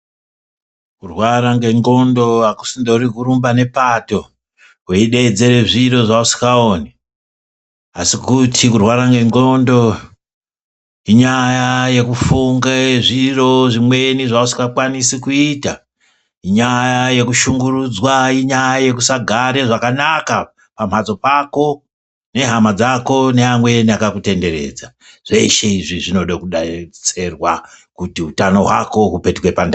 Kurwara ngengondo akusingori kurumba ngepato, weidedzere zviro zveusingaoni asi kuti kurwara ngengondo, inyaya yekufunge zviro zvimweni zveusingakwanise kuita, nyaya yekushungurudzwa, inyaya yekusagara zvakanaka pamhatso pako nehama dzako neamweni akakutenderedza, zveshe izvi zvinoda kudetserwa kuti utano hwako hupetuke pandau.